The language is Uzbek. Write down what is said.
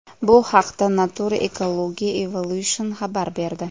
Bu haqda Nature Ecology & Evolution xabar berdi .